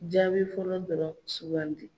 Jaabi fɔlɔ dɔ sugan di.